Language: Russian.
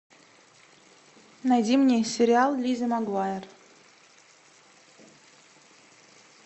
найди мне сериал лиззи магуайер